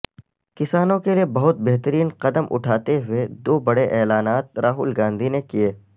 کسانوں کے لیے بہت بہترین قدم اٹھاتے ہوئے دو بڈے اعلانات راہل گاندھی نے کئے